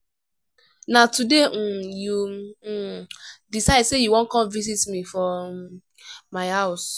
na today um you um decide sey you wan come visit me for um my house?